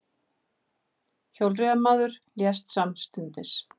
Hjólreiðamaður lést samstundis